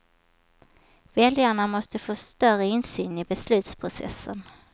Väljarna måste få större insyn i beslutsprocessen.